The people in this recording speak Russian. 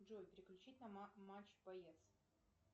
джой переключить на матч боец